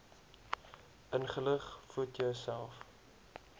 ingelig voed jouself